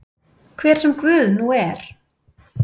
Hver sem Guð nú er.